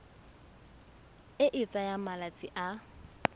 e e tsayang malatsi a